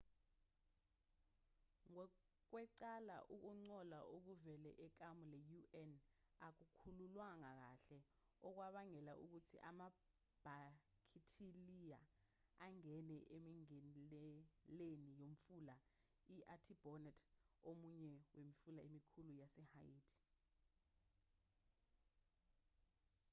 ngokwecala ukungcola okuvela ekamu le-un akukhucululwanga kahle okwabangela ukuthi amabhakithiliya angene emingeneleni yomfula i-artibonite omunye wemifula emikhulu yasehaiti